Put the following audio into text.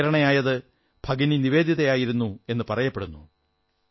അതിന് പ്രേരണയായത് ഭഗിനി നിവേദിതയാണെന്നു പറയപ്പെടുന്നു